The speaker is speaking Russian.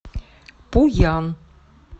пуян